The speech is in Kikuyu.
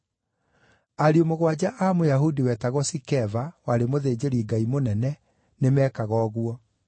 Ariũ mũgwanja a Mũyahudi wetagwo Sikeva, warĩ mũthĩnjĩri-Ngai mũnene, nĩmekaga ũguo.